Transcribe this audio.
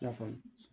I na faamu